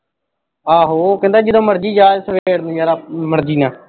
ਆਹੋ, ਕਹਿੰਦਾ ਜਦੋਂ ਮਰਜੀ ਜਾ ਸਵੇਰੇ ਮਰਜੀ ਆ।